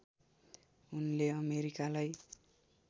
उनले अमेरिकालाई